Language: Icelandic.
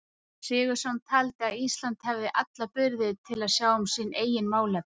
Jón Sigurðsson taldi að Ísland hefði alla burði til að sjá um sín eigin málefni.